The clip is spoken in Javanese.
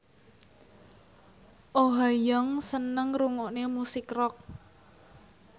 Oh Ha Young seneng ngrungokne musik rock